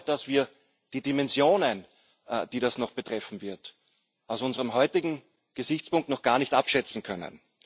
Ich glaube, dass wir die Dimensionen, die das noch betreffen wird, aus unserem heutigen Gesichtspunkt noch gar nicht abschätzen können.